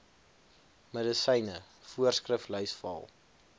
medisyne voorskriflys val